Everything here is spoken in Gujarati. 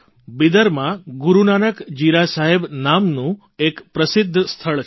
બિદરમાં ગુરૂનાનક જીરા સાહેબ નું એક પ્રસિદ્ધ સ્થળ છે